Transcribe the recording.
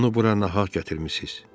Onu bura nahaq gətirmisiz.